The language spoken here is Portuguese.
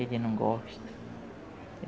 Ele não gosta.